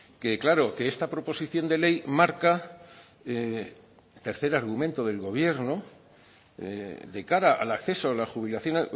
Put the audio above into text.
que claro que esta proposición de ley marca tercer argumento del gobierno de cara al acceso a la jubilación